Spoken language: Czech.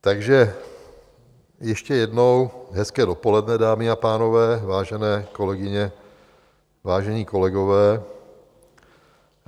"Takže ještě jednou hezké dopoledne, dámy a pánové, vážené kolegyně, vážení kolegové.